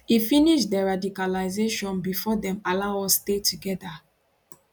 e finish deradicalisation bifor dem allow us stay togeda